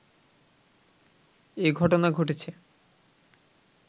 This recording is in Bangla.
এ ঘটনা ঘটেছে